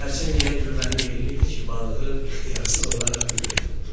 Xərçəng elə gülməli yeriyirdi ki, balığı ixtiyarsız olaraq gülmək tutdu.